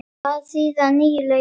Hvað þýða nýju lögin?